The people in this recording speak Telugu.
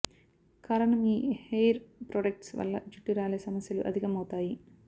కారణం ఈ హెయిర్ ప్రొడక్ట్స్ వల్ల జుట్టు రాలే సమస్యలు అధికం అవుతాయి